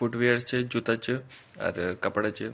फुटवियर च जुता च अर कपड़ा च।